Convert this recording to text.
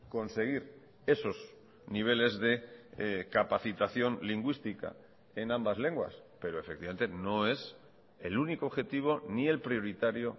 conseguir esos niveles de capacitación lingüística en ambas lenguas pero efectivamente no es el único objetivo ni el prioritario